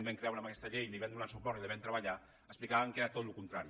vam creure en aquesta llei hi vam donar suport i la vam treballar explicàvem que era tot el contrari